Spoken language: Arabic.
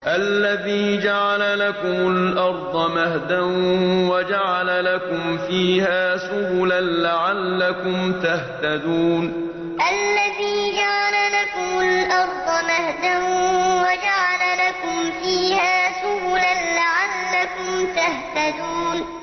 الَّذِي جَعَلَ لَكُمُ الْأَرْضَ مَهْدًا وَجَعَلَ لَكُمْ فِيهَا سُبُلًا لَّعَلَّكُمْ تَهْتَدُونَ الَّذِي جَعَلَ لَكُمُ الْأَرْضَ مَهْدًا وَجَعَلَ لَكُمْ فِيهَا سُبُلًا لَّعَلَّكُمْ تَهْتَدُونَ